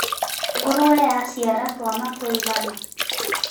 Ngũrũwe yaciara twana tũigana.